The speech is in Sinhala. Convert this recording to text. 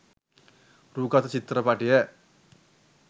රූ ගත චිත්‍රපටය